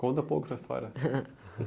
Conta um pouco da história?